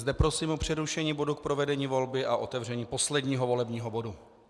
Zde prosím o přerušení bodu k provedení volby a otevření posledního volebního bodu.